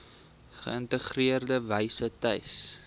geïntegreerde wyse tuis